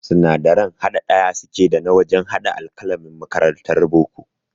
Sinadaran haɗa ɗaya suke da na wajan haɗa alƙalamin makarantar boko